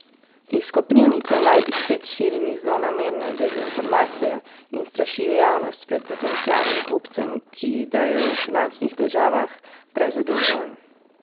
Iz Koprivnice naj bi spet širili zlonamerne dezinformacije in strašili javnost pred potencialnim kupcem, ki da je v finančnih težavah, prezadolžen.